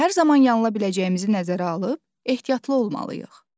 Hər zaman yanıla biləcəyimizi nəzərə alıb, ehtiyatlı olmalıyıq.